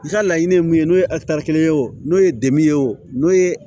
I ka laɲini ye mun ye n'o ye kelen ye o n'o ye de ye o n'o ye